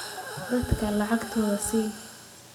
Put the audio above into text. Dadka lacagtooda sii.